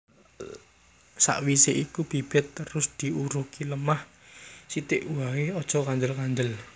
Sakwisé iku bibit terus diurugi lemah sithik waé aja kandel kandel